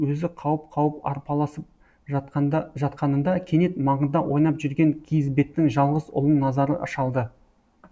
өзі қауып қауып арпалысып жатқанында кенет маңында ойнап жүрген киізбеттің жалғыз ұлын назары шалды